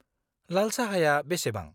लाल साहाया बेसेबां?